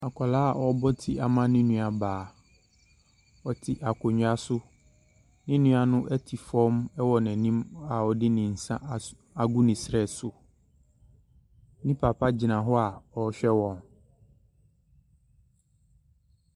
Akwadaa ɔrebɔ ti ama ne nua baa. Ɔte akonnwa so. Ne nua no ɛte fam ɛwɔ n'anim a ɔde ne nsa agu ne serɛ so. Ne papa gyina hɔ a ɔrehwɛ wɔn.